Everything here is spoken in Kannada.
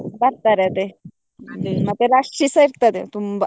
ಬರ್ತಾರೆ ಅದೆ ಮತ್ತೆ rush ಸ ಇರ್ತದೆ ತುಂಬ.